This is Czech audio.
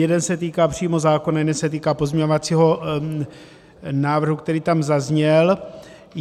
Jeden se týká přímo zákona, jeden se týká pozměňovacího návrhu, který tam zazněl.